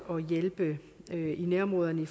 og hjælpe nærområderne